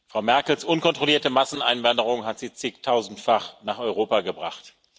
Frau Merkels unkontrollierte Masseneinwanderung hat sie zigtausendfach nach Europa gebracht.